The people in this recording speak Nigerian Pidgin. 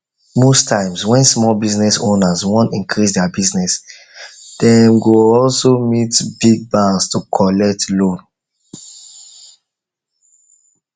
most times when small business owners wan increase their business dem dey also go meet big banks to collect loan